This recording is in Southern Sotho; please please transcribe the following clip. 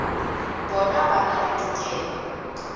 bona ba na le tokelo